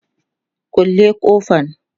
kulle kofan.